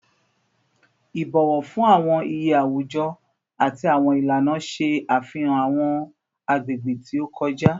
Ibọwọ fun awọn iye awujọ ati awọn ilana ṣe afihan awọn agbegbe ti o kọja